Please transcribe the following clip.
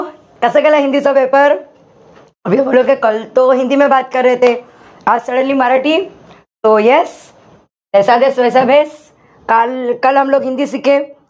कसा गेला हिंदीचा paper suddenly yes ?